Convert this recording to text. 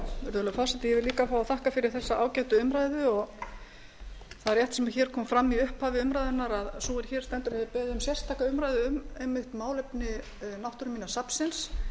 líka fá að þakka fyrir þessa ágætu umræðu það er rétt sem hér kom fram í upphafi umræðunnar a sú er hér stendur hefur beðið um sérstaka umræðu um einmitt málefni náttúruminjasafnsins þannig